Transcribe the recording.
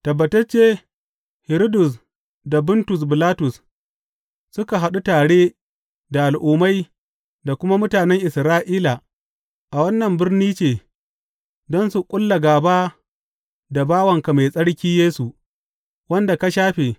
Tabbatacce Hiridus da Buntus Bilatus suka haɗu tare da Al’ummai da kuma mutanen Isra’ila a wannan birni ce don su ƙulla gāba da bawanka mai tsarki Yesu, wanda ka shafe.